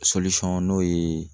n'o ye